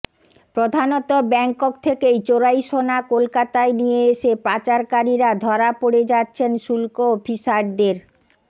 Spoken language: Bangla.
প্রধানত ব্যাঙ্কক থেকে চোরাই সোনা কলকাতায় নিয়ে এসে পাচারকারীরা ধরা পড়ে যাচ্ছেন শুল্ক অফিসারদের